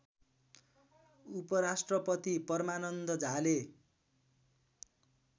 उपराष्ट्रपति परमान्द झाले